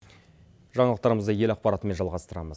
жаңалықтарымызды ел ақпаратымен жалғастырамыз